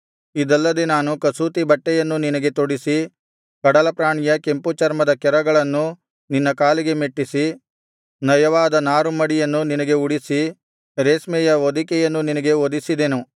ಇದಲ್ಲದೆ ನಾನು ಕಸೂತಿಯ ಬಟ್ಟೆಯನ್ನು ನಿನಗೆ ತೊಡಿಸಿ ಕಡಲಪ್ರಾಣಿಯ ಕೆಂಪು ಚರ್ಮದ ಕೆರಗಳನ್ನು ನಿನ್ನ ಕಾಲಿಗೆ ಮೆಟ್ಟಿಸಿ ನಯವಾದ ನಾರು ಮಡಿಯನ್ನು ನಿನಗೆ ಉಡಿಸಿ ರೇಷ್ಮೆಯ ಹೊದಿಕೆಯನ್ನು ನಿನಗೆ ಹೊದಿಸಿದೆನು